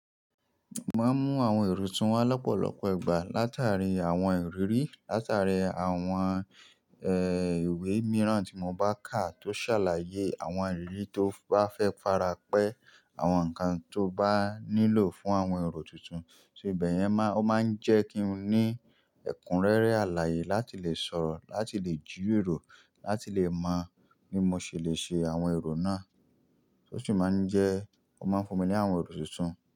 Mo máa ń mú àwọn èrò tuntun wá lọ́pọ̀lọpọ̀ ìgbà látàrí àwọn ìrírí, látàrí àwọn, ẹ́, ìwé mìíràn tí mo bá kà tó ṣàlàyé àwọn ìrírí tó bá fẹ́ fara pẹ́, àwọn nǹkan tó bá nílò fún àwọn èrò tuntun. Só ibẹ̀yẹn má, ó máa ń jẹ́ kí n ní ẹ̀kúnrẹ́rẹ́ àlàyé láti lè sọ̀rọ̀, láti lè jí rorò, láti lè mọ ní mo ṣe lè ṣe àwọn èrò náà, ó sì máa ń jẹ́ ó máa ń fún mi ní àwọn èrò tuntun.